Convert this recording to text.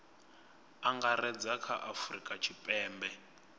angaredza kha a afurika tshipembe